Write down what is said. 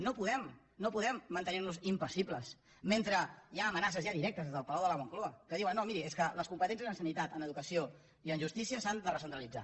no podem mantenir nos impassibles mentre hi ha amenaces ja directes des del palau de la moncloa que diuen no miri és que les competències en sanitat en educació i en justícia s’han de recentralitzar